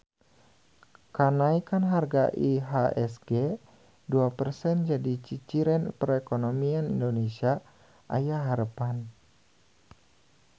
Kanaekan harga IHSG dua persen jadi ciciren perekonomian Indonesia aya harepan